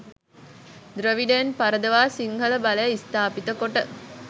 ද්‍රවිඩයන් පරදවා සිංහල බලය ස්ථාපිත කොට